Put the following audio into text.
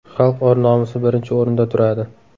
Xalq or-nomusi birinchi o‘rinda turadi.